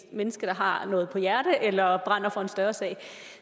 menneske har noget på hjerte eller brænder for en større sag